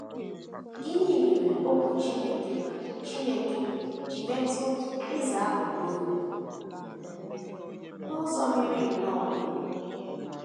Gịnị mere Okwu Chineke Chineke ji metụ eze ahụ n’obi um n’ụzọ miri nnọọ emi?